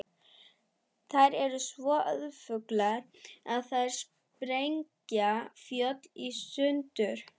Þær eru svo öflugar að þær sprengja fjöll í sundur.